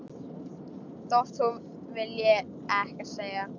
Þótt hún vilji ekkert segja.